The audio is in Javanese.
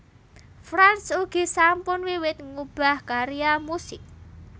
Franz ugi sampun wiwit nggubah karya musik